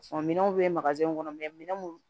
minɛnw bɛ kɔnɔ minɛn minnu